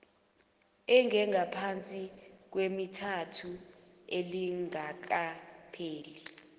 engengaphansi kwemithathu lingakapheli